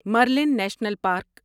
Murlen National park